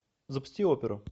запусти оперу